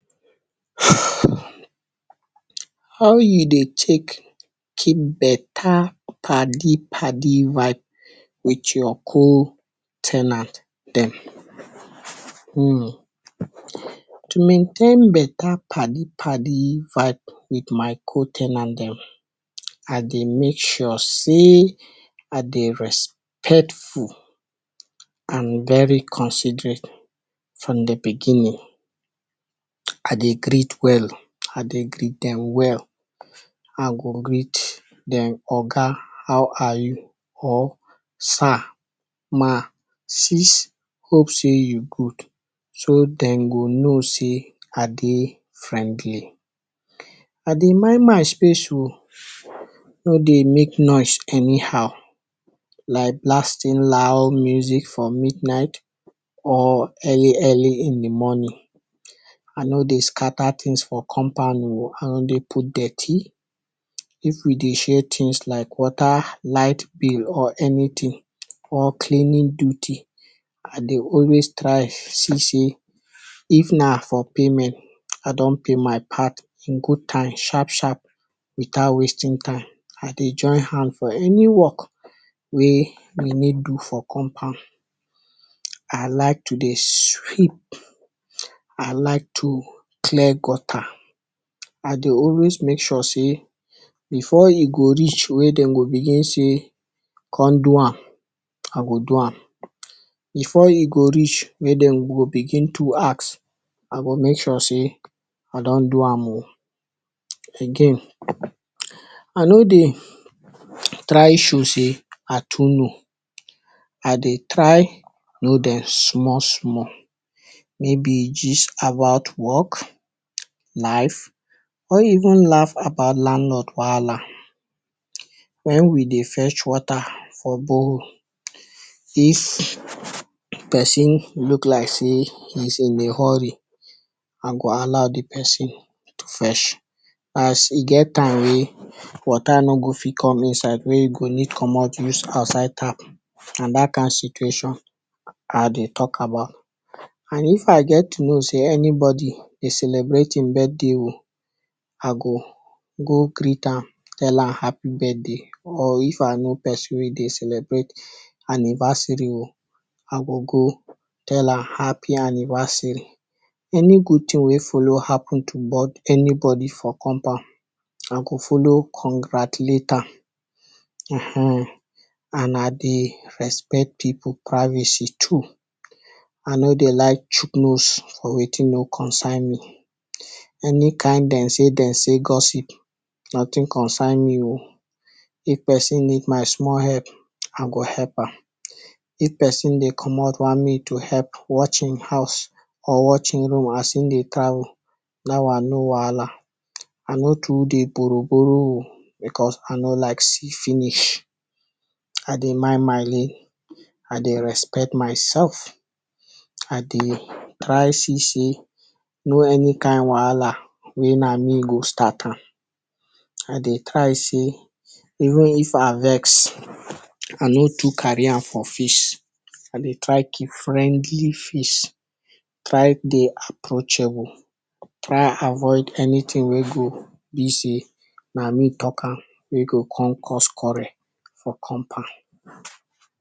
How you dey tek keep beta padi padi vibe wit your co- ten ant dem? Hmmm, to maintain beta padi padi vibe wit my co- ten ant dem, I dey make sure sey I dey respectful and very considerate from di beginning, I dey greet well, I dey greet den well, I go greet dem oga, how are you or sir, ma, sis, hope sey you good, so den go know sey I dey friendly. I dey mind my space o, I no dey mek noise anyhow, like blasting loud music for midnight or early early in di morning. I no dey scatter tins for compound o, I no dey put dirty, if we dey share tins like water, light bill or anytin, or cleaning duty, I dey always try see sey if na for payment I don pay my part in good time sharp sharp without wasting time, I dey join hand for any work wey we need do for compound. I like to dey sweep, I like to clear gutter, I dey always make sure sey, before e go reach wey den go begin sey, kon do am, I go do am, before e go reach wey den go begin to ask, I go make sure sey I don do am o. Again, I no dey try show sey I too know, I dey try know den small small, maybe gist about work, life or even laugh about landlord wahala. Wen we dey fetch water for borehole, if person look like sey he is in a hurry, I go allow di person to fetch, as e get time wey water no go fit come inside wey you go need comot use outside tap, na dat kind situation I dey talk about. And if I get to know sey anybody dey celebrate im birthday o, I go go greet am tell am happy birthday or if I know person wey dey celebrate anniversary o, I go go tell am, happy anniversary. Any good tin wey follow happen to bo…anybody for compound, I go follow congratulate am, ehen. And I dey respect pipu privacy too, I no dey like chook nose for wetin no concern me. Any kind den sey den sey gossip, notin concern me o, if person need small help, I go help am, if person dey comot want me to help watch im house or watch e room as e dey travel, dat one no wahala. I no too dey borrow borrow o, because I no like see finish, I dey mind my lane, I dey respect myself, I dey try see sey no any kind wahala wey na me go start am. I dey try sey even if I vex, I no too carry am for face, I dey try keep friendly face, try dey approachable, try avoid anytin wey go be sey na me talk am, wey go kon cause quarrel for compound.